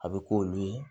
A bɛ k'olu ye